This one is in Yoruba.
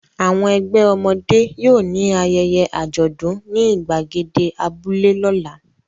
Àwọn ẹgbẹ́ ọmọdé yóò ní ayẹyẹ àjọ̀dún ní ìgbàgede abúlé lọ́la.